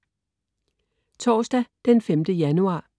Torsdag den 5. januar